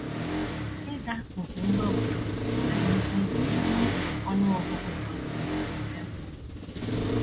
Ịza òkù ngwa ngwa adịghịkwa egbochi ọnụ ọgụgụ ka ukwuu nke mpụ.